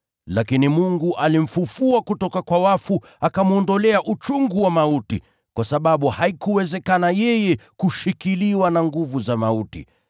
Lakini Mungu alimfufua kutoka kwa wafu akamwondolea uchungu wa mauti, kwa sababu haikuwezekana yeye kushikiliwa na nguvu za mauti.